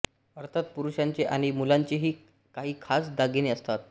अर्थात पुरुषांचे आणि मुलांचेही काही खास दागिने असतात